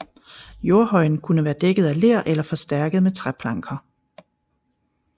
Jordhøjen kunne være dækket af ler eller forstærket med træplanker